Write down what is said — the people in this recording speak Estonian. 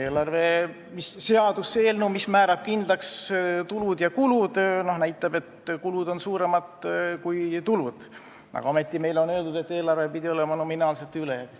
Eelarve seaduse eelnõu, mis määrab kindlaks tulud ja kulud, näitab, et kulud on suuremad kui tulud, aga ometi meile on öeldud, et eelarve on nominaalse ülejäägiga.